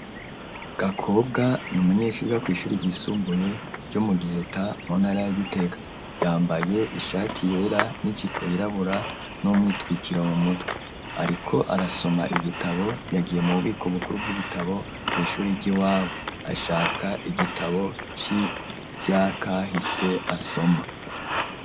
Gakobwa n'umunyeshuri yiga kw'ishuri ryisumbuye ryo mu Giheta mu ntara ya Gitega, yambaye ishati yera n'ijipo yirabura n'umwitwikiro mu mutwe, ariko arasoma igitabo yagiye mu bubiko bukuru bw'ibitabo kw'ishuri ryiwabo, ashaka igitabo c'ivyakahise asoma.